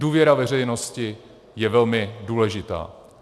Důvěra veřejnosti je velmi důležitá.